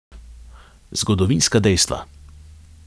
Zgodovinska dejstva.